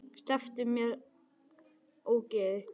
Slepptu mér, ógeðið þitt!